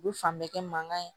U bɛ fan bɛɛ kɛ mankan ye